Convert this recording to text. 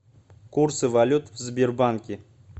курсы валют в сбербанке